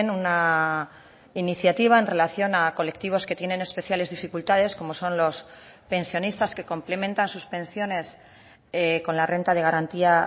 una iniciativa en relación a colectivos que tienen especiales dificultades como son los pensionistas que complementan sus pensiones con la renta de garantía